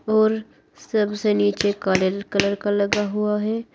और सबसे नीचे काले कलर का लगा हुआ है।